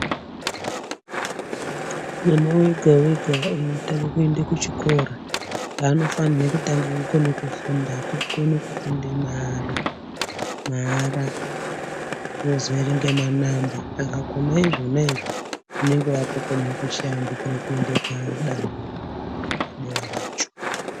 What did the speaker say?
Mwana wega weha eyitanga kuenda kuchikora vanofana kutanga kukona kufunda mavara vozoerenge manamba. Saka unokone zvona izvo unenge akufana kuenda padanho rimweni racho.